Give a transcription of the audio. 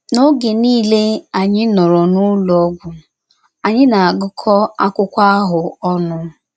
N’oge niile anyị nọrọ n’ụlọ ọgwụ, anyị na - agụkọ akwụkwọ ahụ ọnụ.